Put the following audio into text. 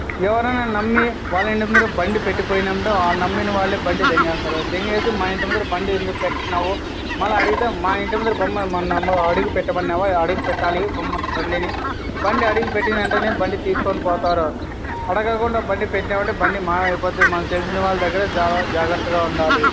ఎవరైనా నమ్మి వాళ్ళ ఇంటి ముందర బండి పెట్టి పోయినపుడు ఆ నమ్మినవాళ్ళే బండి మా ఇంటి ముందర బండి ఎందుకు పెట్టినావు మల్ల అడిగితె మా ఇంటి అడిగి పెట్టమన్నావా అడిగి పెట్టాలి బొమ్మ-బండిని బండి అడిగి పెట్టిన వెంటనే బండి తీసుకుని పోతారు అడగకుండా బండిపెట్టినామంటే బండి మాయమైపోద్ది మనకి తెలిసిన వాళ్ళదగ్గిరే చాలా జాగ్రత్తగా ఉండాలి.